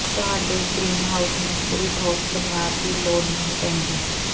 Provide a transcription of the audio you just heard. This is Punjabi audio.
ਤੁਹਾਡੇ ਗ੍ਰੀਨਹਾਉਸ ਨੂੰ ਪੂਰੀ ਠੋਸ ਬੁਨਿਆਦ ਦੀ ਲੋੜ ਨਹੀਂ ਪੈਂਦੀ